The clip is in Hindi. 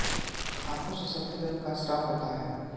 आँखों से सफेद रंग का स्त्राव होता है